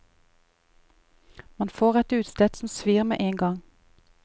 Man får et utslett som svir med en gang.